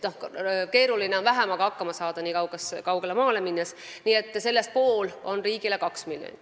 Keeruline on vähemaga hakkama saada, eriti nii kaugele maale minnes.